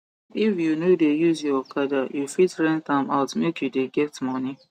if you no de use your okada you fit rent am out make you de get moni